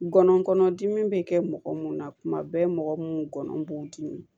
Ngɔnɔnkɔnɔdimi bɛ kɛ mɔgɔ mun na tuma bɛɛ mɔgɔ minnu gɔnɔ b'u dimi